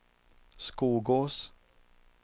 Skogås